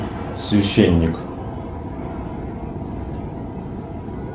священник